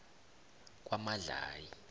kwamadlayi